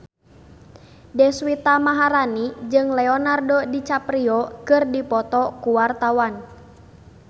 Deswita Maharani jeung Leonardo DiCaprio keur dipoto ku wartawan